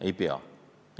Ei pea!